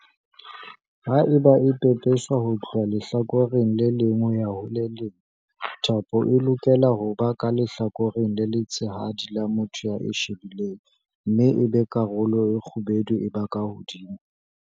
Haeba e pepeswa ho tloha lehlakoreng le leng ho ya ho le leng, thapo e lokela ho ba ka lehlakoreng le letshehadi la motho ya e shebileng mme ebe karolo e kgubedu e ba ka hodimo.